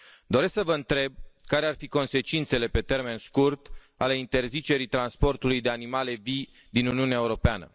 Doresc să vă întreb care ar fi consecințele pe termen scurt ale interzicerii transportului de animale vii din Uniunea Europeană.